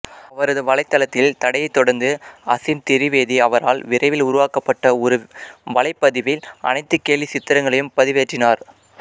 அவரது வலைத்தளத்தில் தடையை தொடர்ந்து அஸீம் திரிவேதி அவரால் விரைவில் உருவாக்கப்பட்ட ஒரு வலைப்பதிவில் அனைத்து கேலிச்சித்திரங்களையும் பதிவேற்றினார்